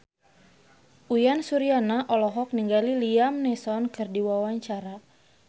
Uyan Suryana olohok ningali Liam Neeson keur diwawancara